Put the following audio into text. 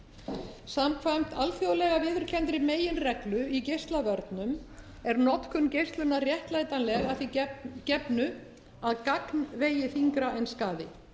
húðkrabbameina samkvæmt alþjóðlega viðurkenndri meginreglu í geislavörnum er notkun geislunar vera réttlætanleg að því gefnu að gagn vegi þyngra en skaði